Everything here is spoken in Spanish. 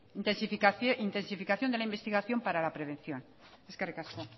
intensificación de la investigación para la prevención eskerrik asko